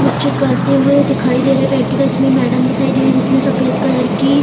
कुछ करते हुए दिखाई दे रहे प्रैक्टिकल्स में मैडम दिखाई दे रही जिसमें सफ़ेद कलर की --